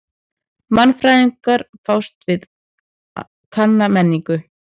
Mannfræðingar fást við kanna menningu.